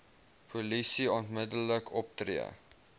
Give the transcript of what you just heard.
polisie onmiddellik optree